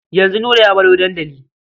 Yanzu Nura ya baro dandali.